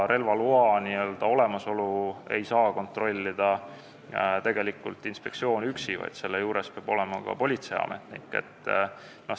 Selle olemasolu ei saa kontrollida tegelikult inspektsiooni töötaja üksi, vaid juures peab olema politseiametnik.